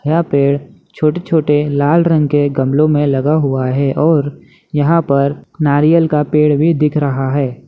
यह पेड़ छोटे-छोटे लाल रंग के गमलो में लगा हुआ है और यहाँ पर नारियल का पेड़ भी दिख रहा है।